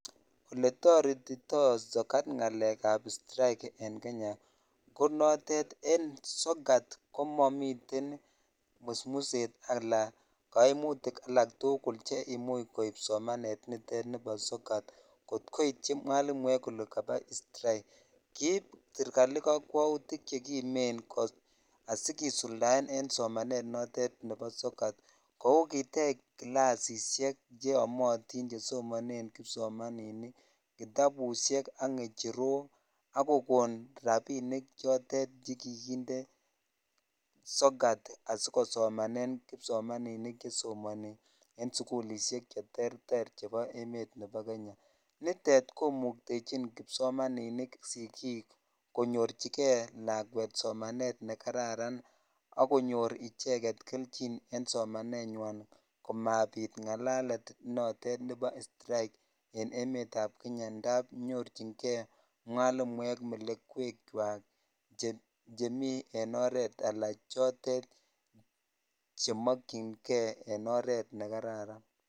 Oletoretito sokat ng'alekab strike en Kenya ko notet en sokat komomiten musmuset alaa koimutik alak tukul cheimuch koib somanet niton nibo sokat kot koityi mwalimuek kole kaba strike, kiib serikali kokwoutik chekimen asikisuldaen en somanet notet nebo sokat kou kitech kilasishek cheyomotin chesomonen kipsomaninik, kitabushek ak ngecherok ak kokon rabinik chotet chekikinde sokat asikosomanen kkipsomaninik chesomoni en sukulishek cheterter chebo emet nebo Kenya, nitet komuktechin kipsomaninik sikik konyorchike lakwet somanet nekararan ak konyor icheket kelchin en somanenywan komabit ng'alalet notet nebo strike en emetab Kenya ndab nyorching'e mwalimuek melekwekwak chemii en oreet alaa chotet chemokying'e en oreet nekararan.